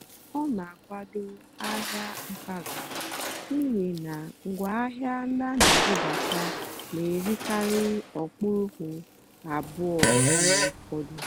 ọ́ nà-ákwádó àhịá mpàgàrà n'ìhì ná ngwáàhịá ndí á nà-èbúbátá nà-èrìkarị́ ókpùrụ́kpù àbúọ́ mgbe ụ́fọ̀dụ́.